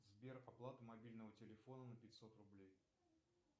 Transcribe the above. сбер оплата мобильного телефона на пятьсот рублей